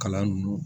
Kalan nunnu